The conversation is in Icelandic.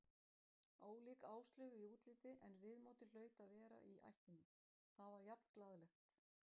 Ólík Áslaugu í útliti en viðmótið hlaut að vera í ættinni, það var jafn glaðlegt.